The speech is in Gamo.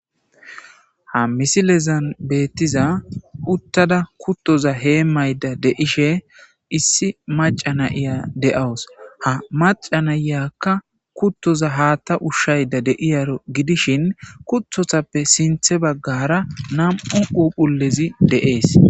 ha misilezan beetiza uttada kuuttoza hemashe issi macca na'iya de'aus. ha macca naykka kuutoza haaththa ushayda de'iyaro gidishin kuutotappe sinththe bagara nam'u phuuphullezi de'ees.